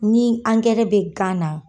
Ni ankɛrɛ be gan na